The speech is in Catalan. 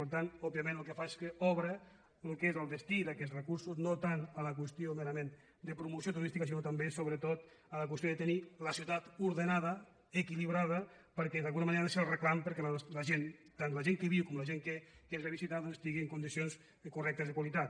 per tant òbviament el que fa és que obre el que és el destí d’aquests recursos no tant a la qüestió mera·ment de promoció turística sinó també sobretot a la qüestió de tenir la ciutat ordenada equilibrada perquè d’alguna manera ha de ser el reclam perquè la gent tant la gent que hi viu com la gent que ens ve a visitar doncs estigui en condicions correctes de qualitat